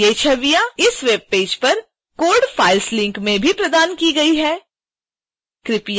ये छवियां इस वेबपेज पर code files लिंक में भी प्रदान की गई हैं